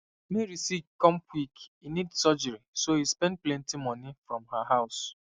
mary sick come quick e need surgery so e spend plenty moni from her house